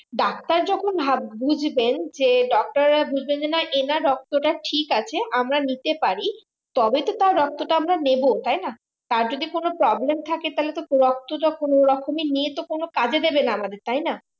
doctor যখন ভাব বুজবেন যে doctor রা বুজবেন যে এনার রক্তটা ঠিক আছে আমরা নিতে পারি তবেই তো তার রক্তটা আমরা নেবো তাই না তার যদি কোনো problem থাকে তাহলে তো রক্তটা নিয়ে কোনো কাজে দেবে না আমাদের তাই না